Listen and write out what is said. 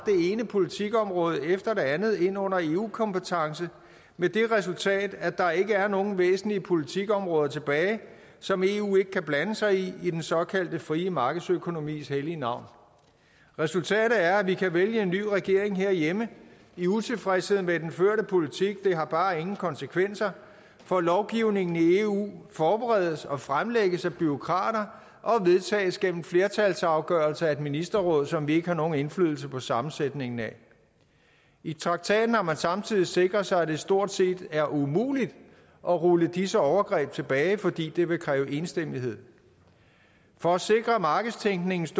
ene politikområde efter det andet ind under eu kompetence med det resultat at der ikke er nogen væsentlige politikområder tilbage som eu ikke kan blande sig i i den såkaldte frie markedsøkonomis hellige navn resultatet er at vi kan vælge en ny regering herhjemme i utilfredshed med den førte politik det har bare ingen konsekvenser for lovgivningen i eu forberedes og fremlægges af bureaukrater og vedtages gennem flertalsafgørelser af et ministerråd som vi ikke har nogen indflydelse på sammensætningen af i traktaten har man samtidig sikret sig at det stort set er umuligt at rulle disse overgreb tilbage fordi det vil kræve enstemmighed for at sikre markedstænkningens